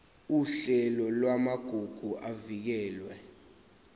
uhlelo lwamagugu avikelwe